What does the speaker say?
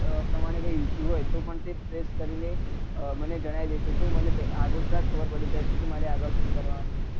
પ્રમાણે કોઈ issue હોય તો પણ તે test કરી ને મને જણાય દે છે તો પછી મને આગોતરા જ ખબર પડી જાય છે કે મારે શું કરવા નું છે